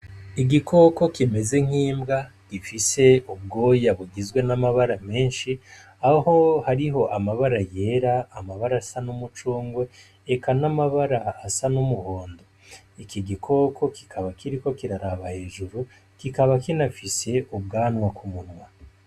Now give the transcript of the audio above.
Igikoko kimeze nk'imbwa gifise ubwoya bugizwe n'amabara menshi, aho hariho amabara yera, amabara asa n'umucungwe, eka n'amabara asa n'umuhondo. Iki gikoko kikaba kiriko kiraraba hejuru kikaba kinafise ubwanwa k'umunwa.